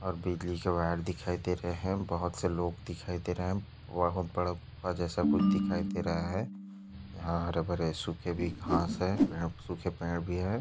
और बिजली का वायर दिखाई दे रहे है बहोत से लोग दिखाई दे रहे है बहोत बड़ा गुफा जैसा कुछ दिखाई दे रहा है यहां हरे भरे सूखे भी घास है और सूखे पेड़ भी है।